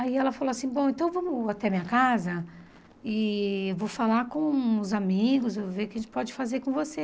Aí ela falou assim, bom, então vamos até minha casa e eu vou falar com os amigos, vou ver o que a gente pode fazer com você.